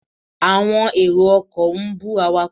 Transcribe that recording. Àwọn èrò ọkọ̀ ń bú awakọ̀.